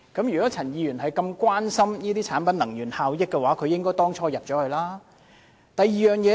如果陳議員關心產品能源效益，當初便應加入小組委員會。